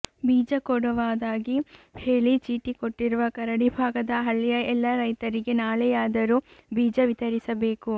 ಬೀಜ ಕೊಡುವದಾಗಿ ಹೇಳಿ ಚೀಟಿ ಕೊಟ್ಟಿರುವ ಕರಡಿ ಭಾಗದ ಹಳ್ಳಿಯ ಎಲ್ಲ ರೈತರಿಗೆ ನಾಳೆಯಾದರೂ ಬೀಜ ವಿತರಿಸಬೇಕು